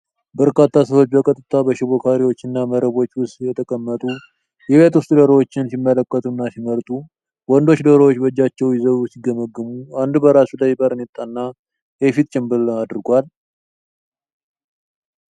በርካታ ሰዎች በቀጥታ በሽቦ ካሬዎችና መረቦች ውስጥ የተቀመጡ የቤት ውስጥ ዶሮዎችን ሲመለከቱና ሲመርጡ ። ወንዶቹ ዶሮዎችን በእጃቸው ይዘው ሲገመግሙ፣ አንዱ በራሱ ላይ ባርኔጣና የፊት ጭንብል አድርጓል።